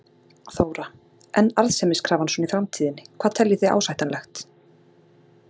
Þóra: En arðsemiskrafan svona í framtíðinni, hvað teljið þið ásættanlegt?